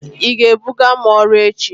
Ị ga-ebuga m ọrụ echi?